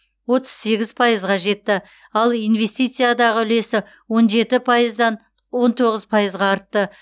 отыз сегіз пайызға жетті ал инвестициядағы үлесі он жеті пайыздан он тоғыз пайызға артты